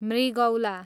मृगौला